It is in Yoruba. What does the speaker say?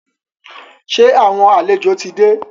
Sẹ́ àwọn àlejò ti dé?